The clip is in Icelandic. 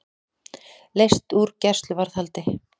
Leyst úr gæsluvarðhaldi